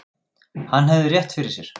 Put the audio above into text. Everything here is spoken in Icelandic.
Hann hafði rétt fyrir sér.